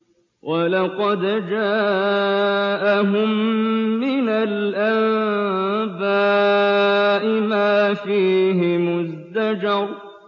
وَلَقَدْ جَاءَهُم مِّنَ الْأَنبَاءِ مَا فِيهِ مُزْدَجَرٌ